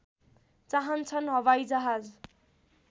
चाहन्छन् हवाइजहाज